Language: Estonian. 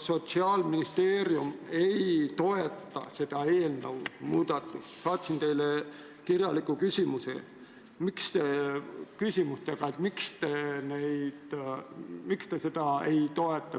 Sotsiaalministeerium ei toeta seda muudatust, kirjaliku küsimuse, miks te seda ei toeta.